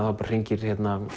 þá bara hringir